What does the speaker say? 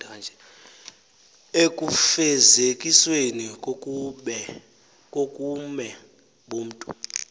ekufezekisweni kobume bomntu